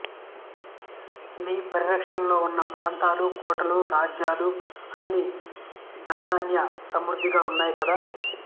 నీ పరి రక్షణలో ఉన్న ప్రాంతాలు కోటలు రాజ్యాలు అన్నీ ధనదాన్య సమృద్ధిగా ఉన్నాయి కదా